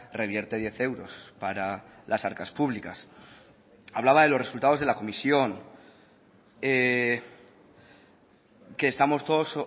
revierte diez euros para las arcas públicas hablaba de los resultados de la comisión que estamos todos